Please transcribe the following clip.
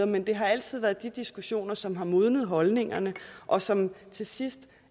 men det har altid været de diskussioner som har modnet holdningerne og som til sidst